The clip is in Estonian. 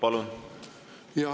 Palun!